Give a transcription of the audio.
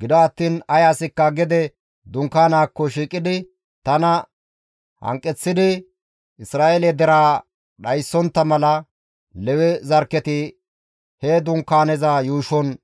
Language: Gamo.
Gido attiin ay asikka dunkaanaakko shiiqidi tana hanqeththidi Isra7eele deraa dhaysisontta mala Lewe zarkketi he Dunkaaneza yuushon